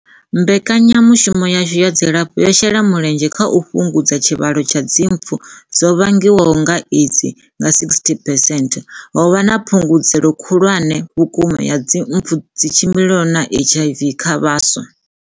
Mbekanyamushumo yashu ya dzilafho yo shela mulenzhe kha u fhungudza tshivhalo tsha dzimpfu dzo vhangwaho nga AIDS nga 60 percent. Ho vha na phungudzeo khulwane vhukuma ya mpfu dzi tshimbilelanaho na HIV kha vhaswa.